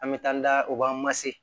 An bɛ taa da u b'an mase